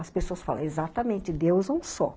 As pessoas falam exatamente, Deus é um só.